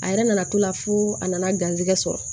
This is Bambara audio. A yɛrɛ nana to la fo a nana garisigɛ sɔrɔ